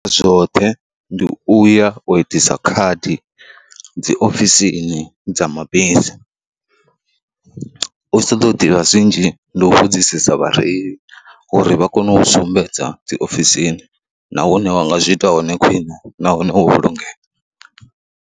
Zwoṱhe ndi u ya u itisa khadi dzi ofisini dza mabisi, u tshi ṱoḓa u ḓivha zwinzhi ndi u vhudzisesa vhareili uri vha kone u sumbedza dzi ofisini na hune wa nga zwi ita hone khwiṋe nahone wo vhulungea.